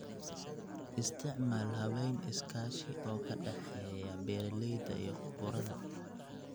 Isticmaal habayn iskaashi oo ka dhexeeya beeralayda iyo khubarada.